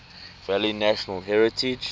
valley national heritage